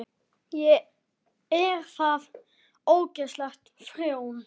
Er það óæskileg þróun?